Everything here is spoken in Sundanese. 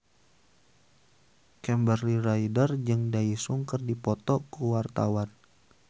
Kimberly Ryder jeung Daesung keur dipoto ku wartawan